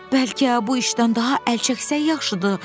Bəlkə bu işdən daha əl çəksək, yaxşıdır.